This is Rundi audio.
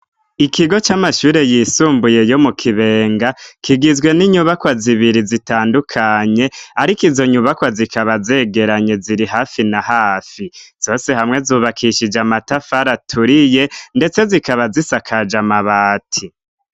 Ikigo cy'amashure yisumbuye yo mu Kibenga, kigizwe n'inyubakwa zibiri zitandukanye ariko izo nyubakwa zikaba zegeranye ziri hafi na hafi. zose hamwe zubakishije amatafari aturiye ndetse zikaba zisakaje amabati.